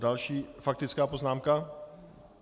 Další faktická poznámka?